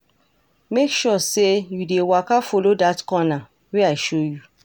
Make sure say you dey waka follow that corner wey I show you.